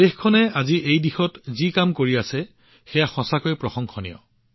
দেশখনে আজি এই দিশত যি কাম কৰি আছে সেয়া সঁচাকৈয়ে প্ৰশংসনীয়